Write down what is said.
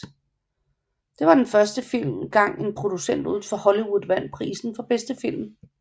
Det var første gang en producent uden for Hollywood vandt prisen for bedste film